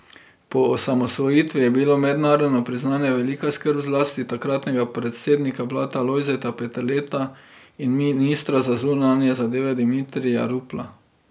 Po osamosvojitvi je bilo mednarodno priznanje velika skrb zlasti takratnega predsednika vlade Lojzeta Peterleta in ministra za zunanje zadeve Dimitrija Rupla.